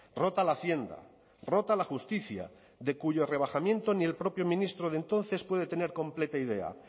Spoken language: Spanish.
rota la hacienda rota la justicia de cuyo rebajamiento ni el propio ministro de entonces puede tener completa idea